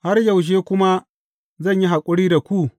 Har yaushe kuma zan yi haƙuri da ku?